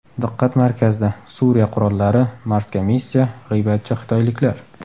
Diqqat markazida: Suriya qurollari, Marsga missiya, g‘iybatchi xitoyliklar.